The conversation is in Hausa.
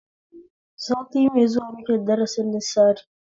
Sati mai zuwa muke da darasin lissari